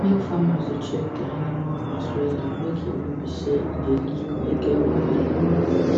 make farmers da check dia animal house wella make e no be say e da leak or e get wahala